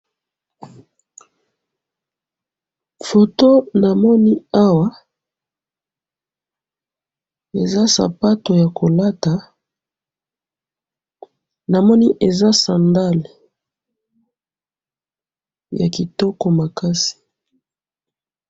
photo namoni awa eza sapatou ya kolata namoni eza sandal ya kitoko makasi.